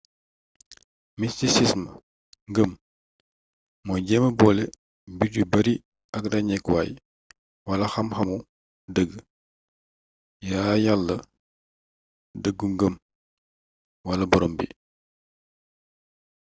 mistisism ngëm mooy jéema boole mbir yu bari ak ràññewukaay wala xam-xamu dëgg yàyàlla dëggu ngëm wala boroom bi